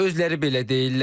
Özləri belə deyirlər.